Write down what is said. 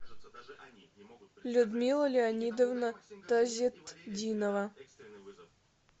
людмила леонидовна тазетдинова